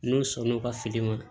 N'o sɔn n'o ka fili ma